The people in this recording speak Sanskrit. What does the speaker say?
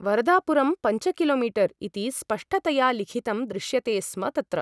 वरदापुरम् पञ्च किलोमीटर् इति स्पष्टतया लिखितं दृश्यते स्म तत्र ।